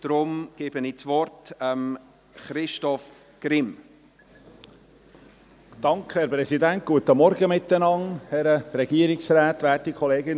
Ich kann Christoph Grimm leider das Wort nicht erteilen, weil er noch nicht angemeldet ist und weil es noch zu laut ist.